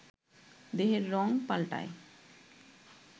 দেহের রঙ পাল্টায়